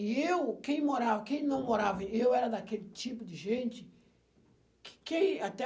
E eu, quem morava, quem não morava, eu era daquele tipo de gente quê quem, até,